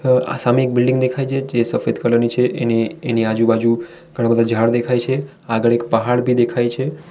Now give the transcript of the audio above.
આ સામી એક બિલ્ડીંગ દેખાય છે જે સફેદ કલર ની છે એને એની આજુબાજુ ઘણા બધા ઝાડ દેખાય છે આગળ એક પહાડ ભી દેખાય છે.